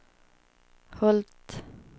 Hult